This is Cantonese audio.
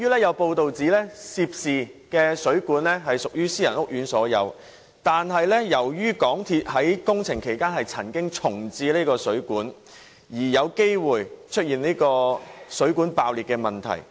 有報道指出，涉事的水管屬私人屋苑所有，但由於港鐵在工程其間曾經重置水管，因而有機會出現水管爆裂的問題。